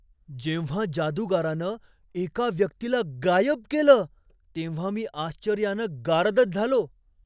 जेव्हा जादूगारानं एका व्यक्तीला गायब केलं तेव्हा मी आश्चर्यानं गारदच झालो!